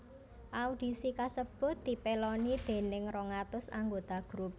Audisi kasebut dipèloni déning rong atus anggota grup